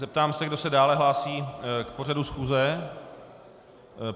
Zeptám se, kdo se dále hlásí k pořadu schůze.